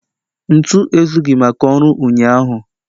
Ntu ezughị maka ọrụ ụnyaahụ